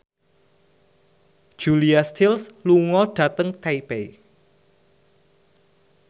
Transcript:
Julia Stiles lunga dhateng Taipei